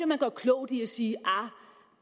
man gør klogt i at sige at